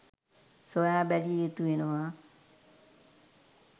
සොයා බැලියයුතු වෙනවා.